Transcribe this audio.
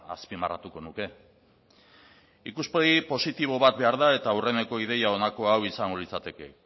azpimarratuko nuke ikuspegi positibo bat behar da eta aurreneko ideia honako hau izango litzateke